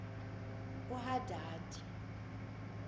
uhadadi